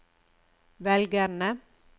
velgerne